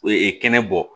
kɛnɛ bɔ